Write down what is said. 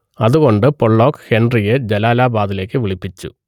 അതുകൊണ്ട് പൊള്ളോക്ക് ഹെൻറിയെ ജലാലാബാദിലേക്ക് വിളിപ്പിച്ചു